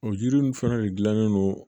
O jiri nunnu fana de gilannen no